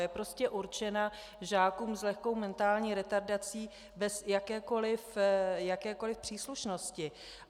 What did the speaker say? Je prostě určena žákům s lehkou mentální retardací bez jakékoliv příslušnosti.